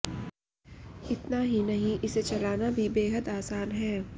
इतना ही नहीं इसे चलाना भी बेहद आसान है